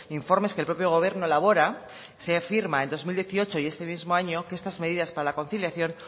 informes que el propio gobierno elabora se afirma en dos mil dieciocho y este mismo año que estas medidas para la conciliación